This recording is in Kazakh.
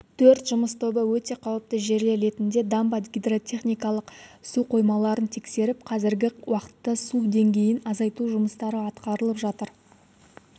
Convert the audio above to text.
төрт жұмыс тобы өте қауіпті жерлер ретінде дамба гидротехникалық су қоймаларын тексеріп қазіргі уақытта су деңгейін азайту жұмыстары атқарылып жатыр